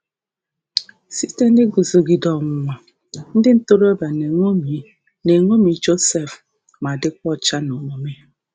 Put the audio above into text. um Site um n’iguzogide ọnwụnwa, ndị um ntorobịa na-eṅomi na-eṅomi Josef ma dịkwa ọcha n’omume